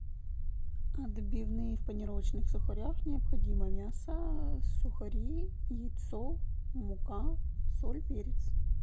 отбивные в панировочных сухарях необходимо мясо сухари яйцо мука соль перец